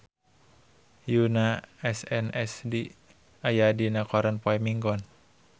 Yoona SNSD aya dina koran poe Minggon